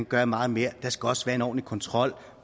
gøre meget mere der skal også være en ordentlig kontrol